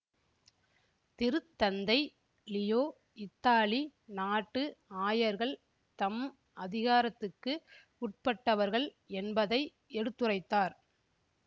திருத்தந்தை லியோ இத்தாலி நாட்டு ஆயர்கள் தம் அதிகாரத்துக்கு உட்பட்டவர்கள் என்பதை எடுத்துரைத்தார்